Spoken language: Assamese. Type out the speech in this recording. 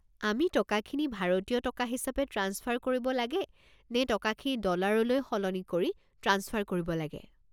আমি টকাখিনি ভাৰতীয় টকা হিচাপে ট্ৰাঞ্চফাৰ কৰিব লাগে নে টকাখিনি ডলাৰলৈ সলনি কৰি ট্ৰাঞ্চফাৰ কৰিব লাগে?